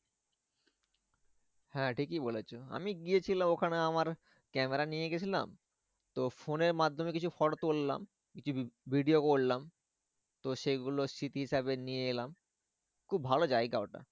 হ্যাঁ ঠিকই বলেছো। আমি গিয়েছিলাম ওখানে আমার camera নিয়ে গিয়েছিলাম তো phone এর মাধ্যমে কিছু photo তুললাম video করলাম তো সে গুলো স্মৃতি হিসাবে নিয়ে এলাম। খুব ভালো জায়গা ওটা।